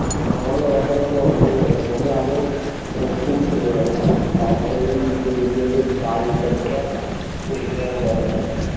আমারও ওরকম ই হয়ে গেছে আমিও আগে অনেক ক্ষণ ঘুড়ি ওড়াতাম তারপরে এই recent কাজ হচ্ছে একটা ঘুড়ি টুরি উড়ানো হয় না